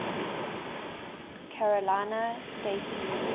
carolina state university